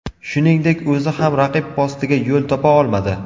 Shuningdek, o‘zi ham raqib postiga yo‘l topa olmadi.